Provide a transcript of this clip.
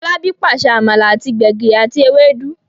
Folabi pàṣẹ amala àti gbegiri àti Ewédú.